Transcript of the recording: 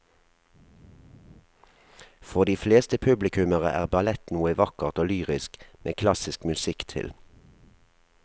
For de fleste publikummere er ballett noe vakkert og lyrisk med klassisk musikk til.